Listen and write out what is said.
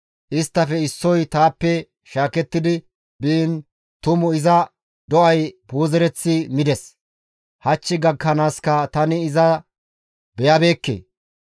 Isttafe issoy taappe shaaketti biin tumu iza do7ay puuzereththi mides; hach gakkanaaska tani iza beyabeekke.